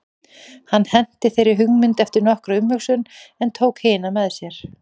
Hann henti þeirri mynd eftir nokkra umhugsun en tók hina með sér.